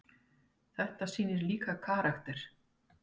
Þetta sýnir líka karakter.